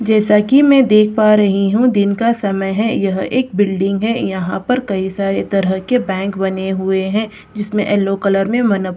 जैसा कि मैं देख पा रही हूं दिन का समय है यह एक बिल्डिंग है यहां पर कई सारे तरह के बैंक बने हुए है जिसमें एलो कलर में वन अप--